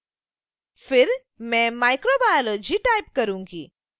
फिर मैं microbiology type करूंगी